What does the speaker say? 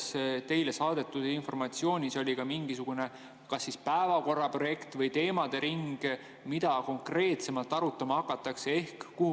Kas selles teile saadetud informatsioonis oli ka mingisugune päevakorra projekt või teemade ring, mida konkreetsemalt arutama hakatakse?